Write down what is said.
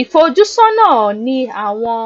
ìfojúsónà ní àwọn